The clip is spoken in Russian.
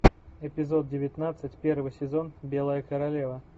эпизод девятнадцать первый сезон белая королева